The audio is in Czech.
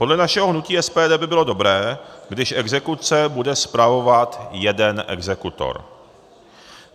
Podle našeho hnutí SPD by bylo dobré, když exekuce bude spravovat jeden exekutor.